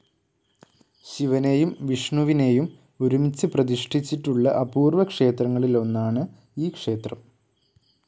ശിവനേയും വിഷ്ണുവിനേയും ഒരുമിച്ച് പ്രതിഷ്ഠിച്ചിട്ടുള്ള അപൂർവ ക്ഷേത്രങ്ങളിൽ ഒന്നാണ് ഈ ക്ഷേത്രം.